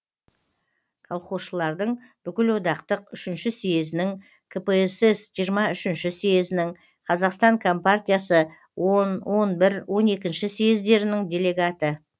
колхозшылардың бүкіл одақтық үшінші сьезінің кпсс жиырма үшінші сьезінің қазақстан компартиясы он он бір он екінші сьездерінің делегаты